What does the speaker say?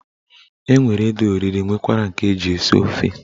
Enwere ede oriri nwekwara nke eji esi ofe.